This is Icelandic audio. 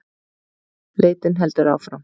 Leitin heldur áfram